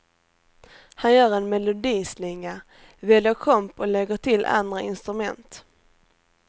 Han gör en melodislinga, väljer komp och lägger till andra instrument.